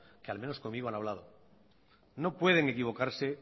que al menos conmigo han hablado no pueden equivocarse